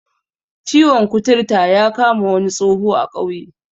Ciwon kuturta ya kama wani tsoho a ƙauye